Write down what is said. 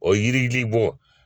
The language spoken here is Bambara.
O yiridili bɔ